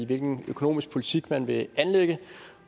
hvilken økonomisk politik man vil anlægge